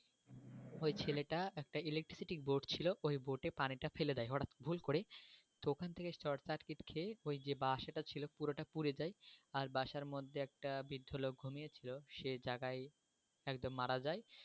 ওই ছেলেটা একটা electricity board ছিল ওই পানিটা ফেলে দেয় হঠাৎ, ভুল করে তো ওখান থেকে short circuit খেয়ে ওই যে বাসাটা ছিলো পুরোটা পুড়ে যায় আর বাসার মধ্যে একটা বৃদ্ধ লোক ঘুমিয়ে ছিল সে জাগায় একদম মারা যায়,